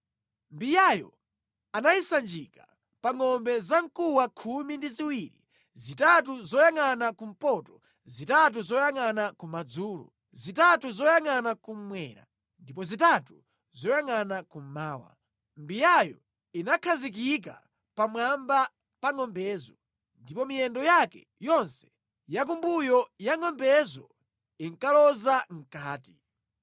Mbiyayo anayisanjika pa ngʼombe zamkuwa khumi ndi ziwiri, zitatu zoyangʼana kumpoto, zitatu zoyangʼana kumadzulo, zitatu zoyangʼana kummwera ndipo zitatu zoyangʼana kummawa. Mbiyayo inakhazikika pamwamba pa ngʼombezo, ndipo miyendo yake yonse yakumbuyo ya ngʼombezo inkaloza mʼkati.